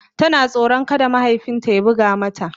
Tana tsoron kada mahaifin ta ya buga mata.